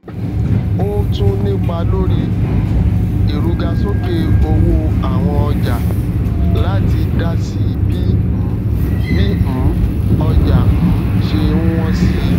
ó tún nípá lórí um ìrugasókè owó àwọn ọjà láti dásí bí um bí um ọjà um ṣé n wón si